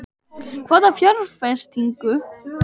Hvaða fjárfestingu?